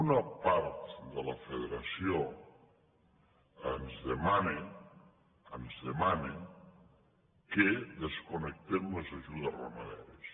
una part de la federació ens demana ens demana que desconnectem les ajudes ramaderes